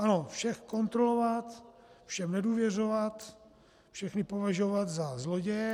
Ano, vše kontrolovat, všem nedůvěřovat, všechny považovat za zloděje.